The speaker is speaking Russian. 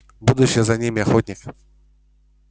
будущее за ними охотник